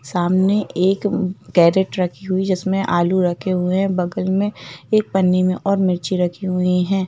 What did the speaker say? सामने एक कैरट रखी हुई जिसमें आलू रखे हुए हैं बगल में एक पन्नी में और मिर्ची रखी हुई है।